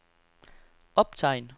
optegn